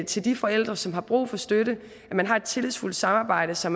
til de forældre som har brug for støtte at man har et tillidsfuldt samarbejde så